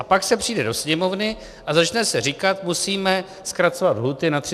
A pak se přijde do Sněmovny a začne se říkat, musíme zkracovat lhůty na 30 dnů.